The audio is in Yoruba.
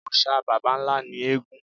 Òòṣà baba ńlá ni eégún.